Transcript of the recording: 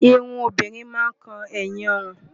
Irun obìnrin máa ń kan ẹ̀yìn ọrùn.